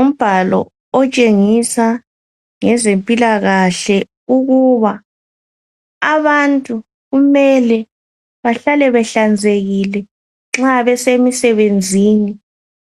Umbhalo otshengisa ngezempilakahle ukuba abantu kumele bahlale behlanzekile nxa besemsebeni